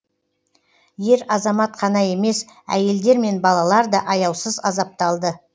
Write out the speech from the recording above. ер азамат қана емес әйелдер мен балалар да аяусыз азапталды